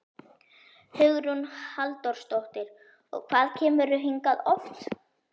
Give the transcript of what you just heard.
Hugrún Halldórsdóttir: Og hvað kemurðu hingað oft?